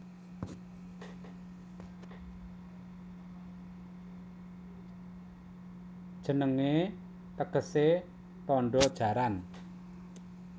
Jenengé tegesé Tandha Jaran